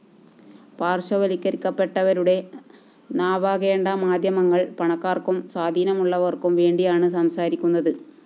പാര്‍ശ്വവല്‍ക്കരിക്കപ്പെട്ടവരുടെ നാവാകേണ്ട മാധ്യമങ്ങള്‍ പണക്കാര്‍ക്കും സ്വാധീനമുള്ളവര്‍ക്കും വേണ്ടിയാണ് സംസാരിക്കുന്നത്